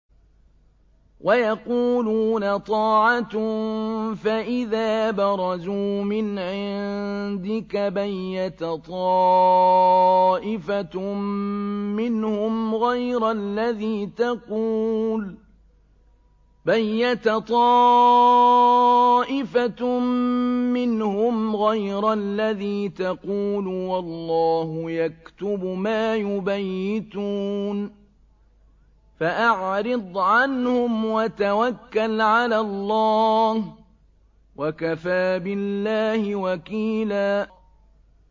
وَيَقُولُونَ طَاعَةٌ فَإِذَا بَرَزُوا مِنْ عِندِكَ بَيَّتَ طَائِفَةٌ مِّنْهُمْ غَيْرَ الَّذِي تَقُولُ ۖ وَاللَّهُ يَكْتُبُ مَا يُبَيِّتُونَ ۖ فَأَعْرِضْ عَنْهُمْ وَتَوَكَّلْ عَلَى اللَّهِ ۚ وَكَفَىٰ بِاللَّهِ وَكِيلًا